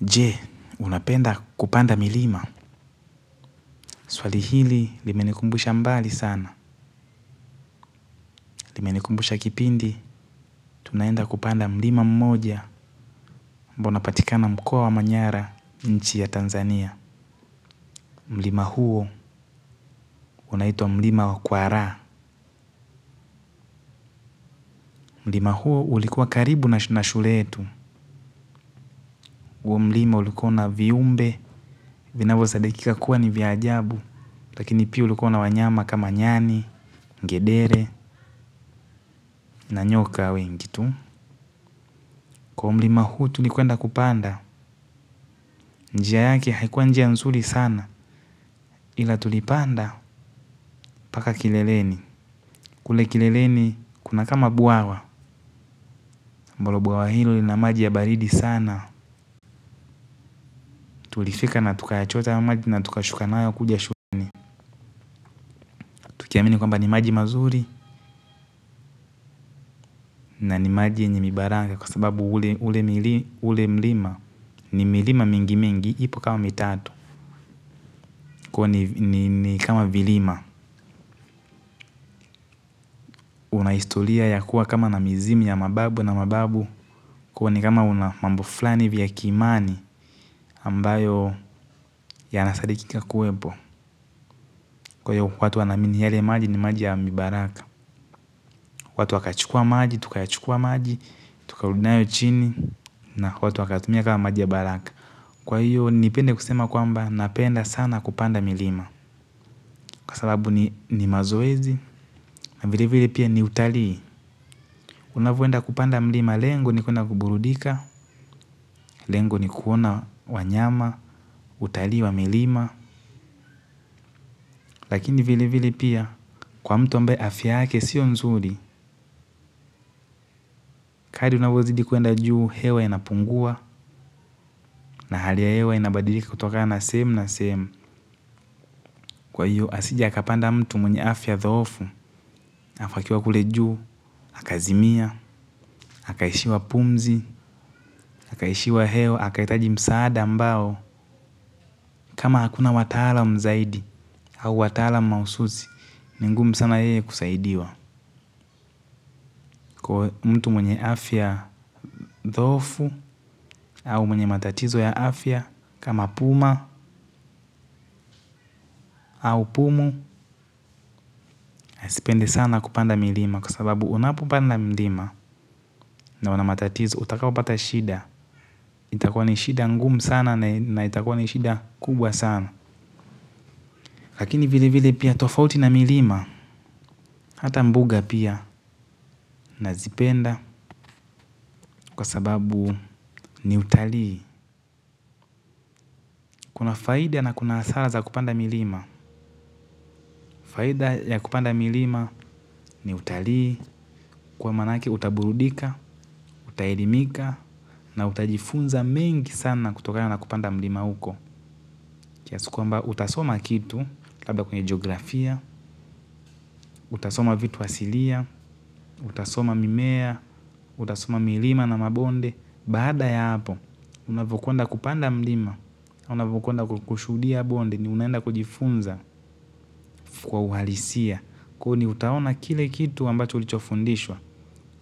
Je unapenda kupanda milima swali hili limenikumbusha mbali sana. Limenikumbusha kipindi tunaenda kupanda mlima mmoja ambao unapatikana mkoa wa manyara nchi ya Tanzania. Mlima huo unaitwa mlima wa kwara. Mlima huo ulikuwa karibu na shule yetu. Mlima ulikuwa na viumbe vinavyosadikika kuwa ni vya ajabu. Lakini pia ulikuwa na wanyama kama nyani, ngedere na nyoka wengi tu kwa huo mlima huu tulikwenda kupanda. Njia yake haikuwa njia nzuri sana. Ila tulipanda mpaka kileleni. Kule kileleni kuna kama bwawa ambaloo bwawa hilo na maji ya baridi sana. Tulifika na tukayachota haya maji na tukashuka nayo kuja shuleni. Tukiamini kwamba ni maji mazuri. Na ni maji yenye mibaranga kwa sababu ule mlima. Ni milima mingi mingi ipo kama mitatu. Kwa hivyo ni kama vilima una historia ya kuwa kama na mizimwi ya mababu na mababu kuwa ni kama una mambo fulani hivi ya kiimani ambayo yanasadikika kuwepo kwa hio watu wanaamini yale maji ni maji ya mibaraka. Watu wakachukua maji, tukayachukua maji, tukarudi nayo chini. Na watu wakatumia kama maji ya baraka. Kwa hiyo nipende kusema kwamba napenda sana kupanda milima kwa sababu ni mazoezi na vile vile pia ni utalii. Unavyoenda kupanda mlima lengo ni kuenda kuburudika. Lengo ni kuona wanyama, utalii wa milima. Lakini vile vile pia kwa mtu ambaye afya yake sio nzuri. Kadri unavyozidi kuenda juu hewa inapungua. Na hali ya hewa inabadilika kutokana sehemu na sehemu. Kwa hiyo asije akapanda mtu mwenye afya thoofu alafu akiwa kule juu, akazimia, akaishiwa pumzi akaishiwa hewa, akahitaji msaada ambao kama hakuna wataalam zaidi au wataalam mahususi ni ngumu sana yeye kusaidiwa. Kwa hio mtu mwenye afya dhoofu au mwenye matatizo ya afya kama puma au pumu. Asipende sana kupanda milima kwa sababu unapopanda milima una matatizo utakapo pata shida. Itakua ni shida ngumu sana na itakua ni shida kubwa sana. Lakini vile vile pia tofauti na milima. Hata mbuga pia nazipenda kwa sababu ni utalii. Kuna faida na kuna hasara za kupanda milima. Faida ya kupanda milima ni utalii, kwa manake utaburudika, utaidimika, na utajifunza mengi sana kutoka ya na kupanda milima huko. Kiasi kwamba utasoma kitu, labda kwenye geografia, utasoma vitu asilia, utasoma mimea, utasoma milima na mabonde. Baada ya hapo, unavyokwenda kupanda mlima, unavyokwenda kushuhudia bonde ni unaenda kujifunza kwa uhalisia. Kwa hio ni utaona kile kitu ambacho ulichofundishwa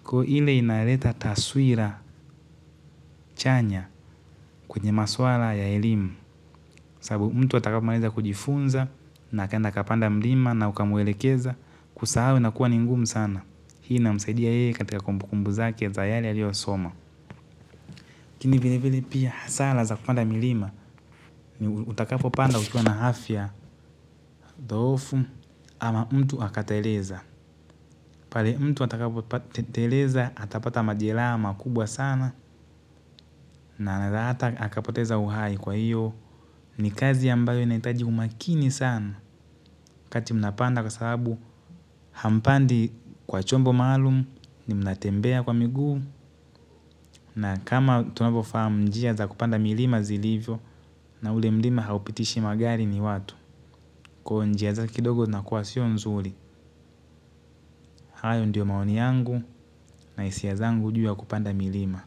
kwa hio ile inaleta taswira chanya kwenye maswala ya elimu sababu mtu atakapomaliza kujifunza na akaenda akapanda mlima na ukamwelekeza kusahau inakua ni ngumu sana hii inamsaidia yeye katika kumbu kumbu zake za yale aliyosoma lakini vile vile pia hasara za kupanda milima. Ni utakapopanda ukiwa na afya dhoofu ama mtu akateleza pale mtu atakapoteleza atapata majeraha makubwa sana na hata akapoteza uhai kwa hiyo. Ni kazi ambayo inahitaji umakini sana wakati mnapanda kwa sababu hampandi kwa chombo maalum mnatembea kwa miguu na kama tunavyofahamu njia za kupanda milima zilivyo na ule mlima haupitishi magari ni watu kwa hio njia zinakua kidogo sio nzuri hayo ndio maoni yangu na hisia zangu kuhusu kupanda milima.